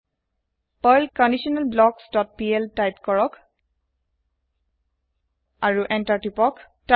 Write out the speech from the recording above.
type কৰক Perl conditional blocks dot PL আৰু enter তিপক